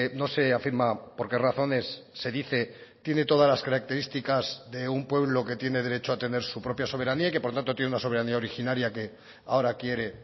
no se afirma por qué razones se dice tiene todas las características de un pueblo que tiene derecho a tener su propia soberanía y que por tanto tiene una soberanía originaria que ahora quiere